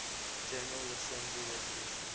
general assembly resolution